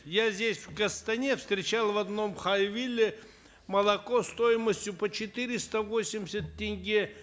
я здесь в астане встречал в одном хайвилле молоко стоимостью по четыреста восемьдесят тенге